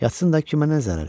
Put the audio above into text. Yatsın da kimə nə zərəri?